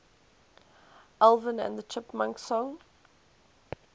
alvin and the chipmunks songs